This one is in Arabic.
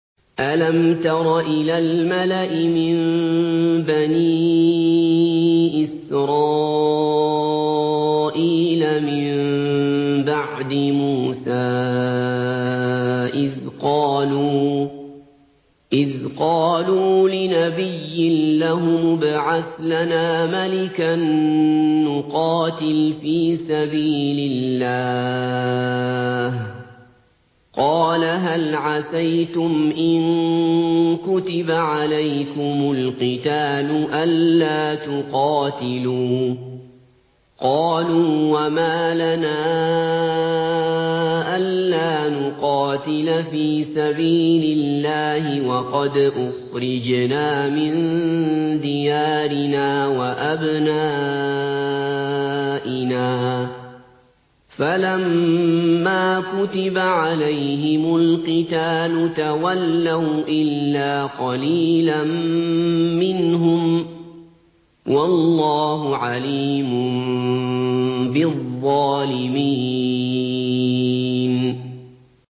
أَلَمْ تَرَ إِلَى الْمَلَإِ مِن بَنِي إِسْرَائِيلَ مِن بَعْدِ مُوسَىٰ إِذْ قَالُوا لِنَبِيٍّ لَّهُمُ ابْعَثْ لَنَا مَلِكًا نُّقَاتِلْ فِي سَبِيلِ اللَّهِ ۖ قَالَ هَلْ عَسَيْتُمْ إِن كُتِبَ عَلَيْكُمُ الْقِتَالُ أَلَّا تُقَاتِلُوا ۖ قَالُوا وَمَا لَنَا أَلَّا نُقَاتِلَ فِي سَبِيلِ اللَّهِ وَقَدْ أُخْرِجْنَا مِن دِيَارِنَا وَأَبْنَائِنَا ۖ فَلَمَّا كُتِبَ عَلَيْهِمُ الْقِتَالُ تَوَلَّوْا إِلَّا قَلِيلًا مِّنْهُمْ ۗ وَاللَّهُ عَلِيمٌ بِالظَّالِمِينَ